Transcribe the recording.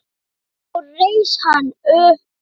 Svo reis hann upp.